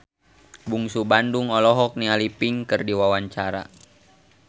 Bungsu Bandung olohok ningali Pink keur diwawancara